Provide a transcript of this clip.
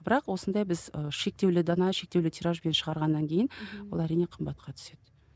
бірақ осындай біз ы шектеулі дана шектеулі тиражбен шығарғаннан кейін ол әрине қымбатқа түседі